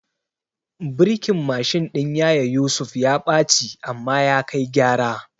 Birkin Mashin ɗin yaya Yusuf ya ɓaci amma ya kai gyara